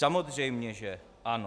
Samozřejmě že ano.